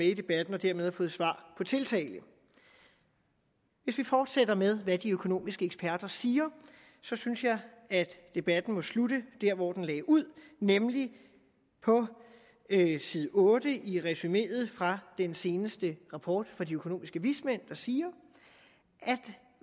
i debatten og dermed har fået svar på tiltale hvis vi fortsætter med hvad de økonomiske eksperter siger så synes jeg at debatten må slutte der hvor den lagde ud nemlig på side otte i resumeet fra den seneste rapport fra de økonomiske vismænd der siger